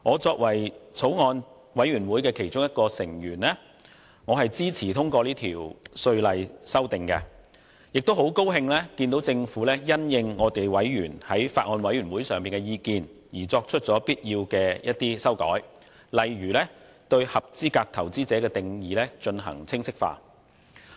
作為法案委員會的其中一名委員，我支持通過《條例草案》，亦很高興看到政府因應法案委員會委員的意見而作出必要的修改，例如更清晰界定"合資格投資者"的定義。